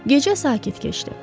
Gecə sakit keçdi.